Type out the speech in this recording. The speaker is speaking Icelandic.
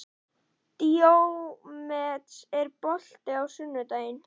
Díómedes, er bolti á sunnudaginn?